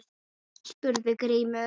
spurði Grímur.